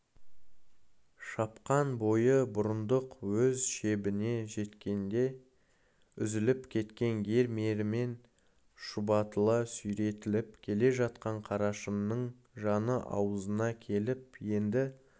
шап-қан бойы бұрындық өз шебіне жеткенде үзіліп кеткен ер-мерімен шұбатыла сүйретіліп келе жатқан қарашыңның жаны аузына келіп енді